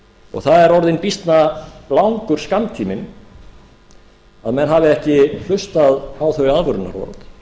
og það er orðinn býsna langur skammtíminn að menn hafi ekki hlustað á þau aðvörunarorð